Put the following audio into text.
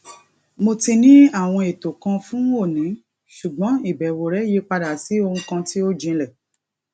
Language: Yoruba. mo ti ní àwọn ètò kan fún òní ṣùgbọn ìbẹwò rẹ yí padà sí ohun kan tí ó jinlè